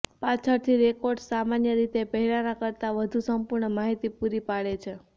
પાછળથી રેકોર્ડ્સ સામાન્ય રીતે પહેલાનાં કરતા વધુ સંપૂર્ણ માહિતી પૂરી પાડે છે